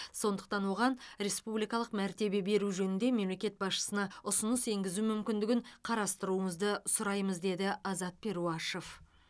сондықтан оған республикалық мәртебе беру жөнінде мемлекет басшысына ұсыныс енгізу мүмкіндігін қарастыруыңызды сұраймыз деді азат перуашев